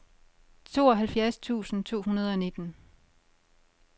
tooghalvfjerds tusind to hundrede og nitten